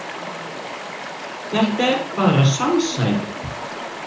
Þetta er bara samsæri.